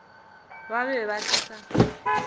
ba be ba se sa